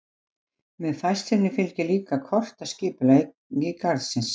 Með færslunni fylgir líka kort af skipulagi garðsins.